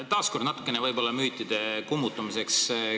Taas küsin võib-olla natukene müütide kummutamiseks.